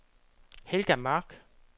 Helga Mark